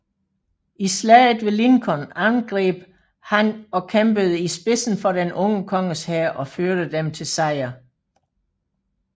I Slaget ved Lincoln angreb han og kæmpede i spidsen for den unge konges hær og førte dem til sejr